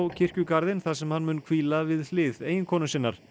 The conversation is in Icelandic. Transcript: kirkjugarðinn þar sem hann mun hvíla við hlið eiginkonu sinnar